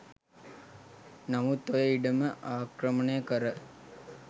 නමුත් ඔය ඉඩම ආක්‍රමණය කර